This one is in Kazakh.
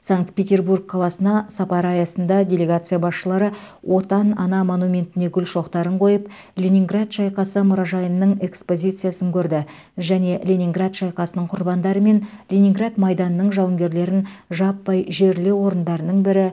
санкт петербург қаласына сапары аясында делегация басшылары отан ана монументіне гүл шоқтарын қойып ленинград шайқасы мұражайының экспозициясын көрді және ленинград шайқасының құрбандары мен ленинград майданының жауынгерлерін жаппай жерлеу орындарының бірі